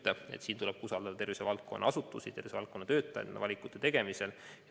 Nende valikut tegemisel tuleb usaldada tervishoiuasutusi ja -töötajaid.